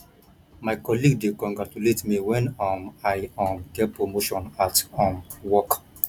my colleague dey congratulate me when um i um get promotion at um work